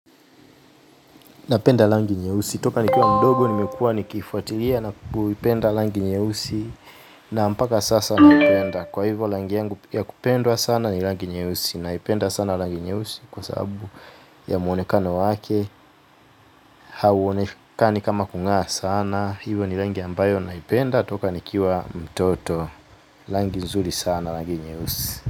Napenda rangi nyeusi, toka nikiwa mdogo, nimekuwa nikifuatilia na kupenda rangi nyeusi. Na mpaka sasa napenda, kwa hivyo rangi yangu ya kupendwa sana ni rangi nyeusi naipenda sana rangi nyeusi kwa sababu ya muonekano wake. Hauonekani kama kungaa sana, hivyo ni rangi ambayo naipenda toka nikiwa mtoto, rangi nzuri sana rangi nyeusi.